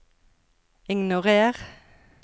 ignorer